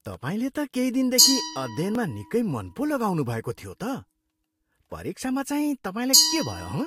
तपाईँले त केही दिनदेखि अध्ययनमा निकै मन पो लगाउनु भएको थियो त। परीक्षामा चाहिँ तपाईँलाई के भयो, हँ?